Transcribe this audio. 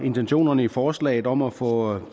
intentionerne i forslaget om at få